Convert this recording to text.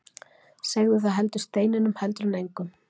Segðu það heldur steininum heldur en engum.